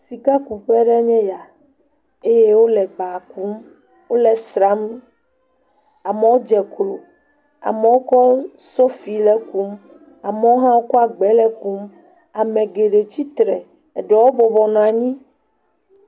Sikakuƒe aɖee nye ya eye wole ba kum, wole esram. Amewo dze klo, amewo kɔ sofi le ekum. Amewo hã kɔ agbawo le ekum. Ame geɖe tsitre, eɖewo bɔbɔnɔ anyi.